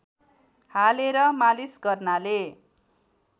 हालेर मालिस गर्नाले